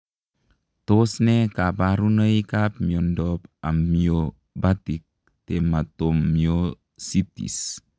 Tos nee kabarunoik ap miondoop Amyobatik tematomyositis?